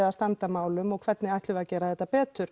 að standa að málum og hvernig ætlum við að gera þetta betur